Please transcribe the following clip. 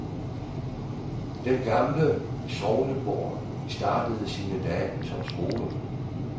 Den gamle sognegård startede sine dage som skole.